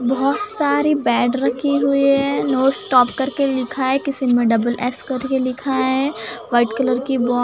बहोत सारी बैट रखी हुई है नो स्टॉप करके लिखा है किसी में डबल एस करके लिखा है व्हाइट कलर की बॉ --